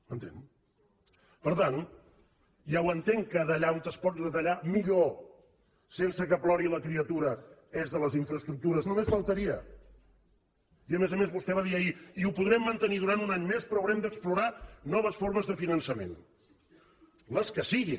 m’entén per tant ja ho entenc que d’allà on es pot retallar millor sense que plori la criatura és de les infraestructures només faltaria i a més a més vostè va dir ahir i ho podrem mantenir durant un any més però haurem d’explorar noves formes de finançament les que siguin